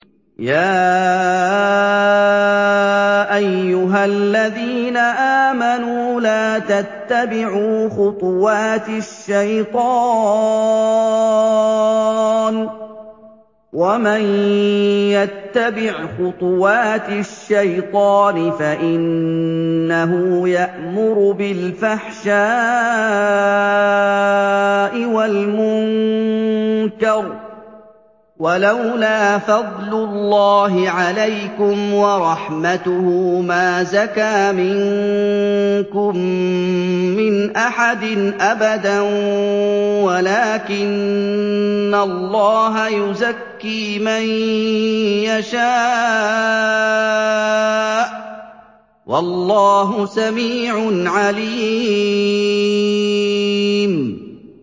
۞ يَا أَيُّهَا الَّذِينَ آمَنُوا لَا تَتَّبِعُوا خُطُوَاتِ الشَّيْطَانِ ۚ وَمَن يَتَّبِعْ خُطُوَاتِ الشَّيْطَانِ فَإِنَّهُ يَأْمُرُ بِالْفَحْشَاءِ وَالْمُنكَرِ ۚ وَلَوْلَا فَضْلُ اللَّهِ عَلَيْكُمْ وَرَحْمَتُهُ مَا زَكَىٰ مِنكُم مِّنْ أَحَدٍ أَبَدًا وَلَٰكِنَّ اللَّهَ يُزَكِّي مَن يَشَاءُ ۗ وَاللَّهُ سَمِيعٌ عَلِيمٌ